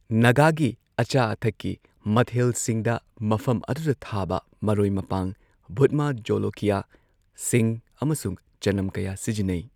ꯅꯥꯒꯥꯒꯤ ꯑꯆꯥ ꯑꯊꯛꯀꯤ ꯃꯊꯦꯜꯁꯤꯡꯗ ꯃꯐꯝ ꯑꯗꯨꯗ ꯊꯥꯕ ꯃꯔꯣꯏ ꯃꯄꯥꯡ, ꯚꯨꯠꯃꯖꯣꯂꯣꯀ꯭ꯌꯥ, ꯁꯤꯡ ꯑꯃꯁꯨꯡ ꯆꯅꯝ ꯀꯌꯥ ꯁꯤꯖꯤꯟꯅꯩ꯫